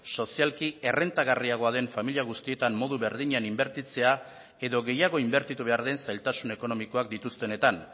sozialki errentagarriagoa den familia guztietan modu berdinean inbertitzea edo gehiago inbertitu behar den zailtasun ekonomikoak dituztenetan